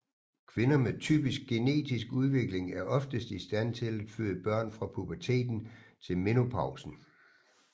Kvinder med typisk genetisk udvikling er oftest i stand til at føde børn fra puberteten til menopausen